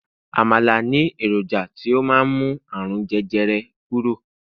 àmàlà ni eroja ti o ma n mu àrùn jẹjẹrẹ kúrò